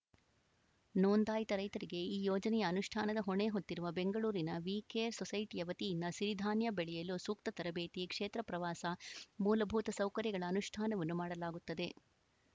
ನೋಂದಾಯಿತ ರೈತರಿಗೆ ಈ ಯೋಜನೆಯ ಅನುಷ್ಠಾನದ ಹೊಣೆ ಹೊತ್ತಿರುವ ಬೆಂಗಳೂರಿನ ವೀ ಕೇರ್‌ ಸೋಸೈಟಿಯ ವತಿಯಿಂದ ಸಿರಿಧಾನ್ಯ ಬೆಳೆಯಲು ಸೂಕ್ತ ತರಬೇತಿ ಕ್ಷೇತ್ರ ಪ್ರವಾಸ ಮೂಲಭೂತ ಸೌಕರ್ಯಗಳ ಅನುಷ್ಠಾನವನ್ನು ಮಾಡಲಾಗುತ್ತದೆ